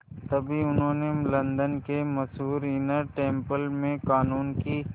तभी उन्हें लंदन के मशहूर इनर टेम्पल में क़ानून की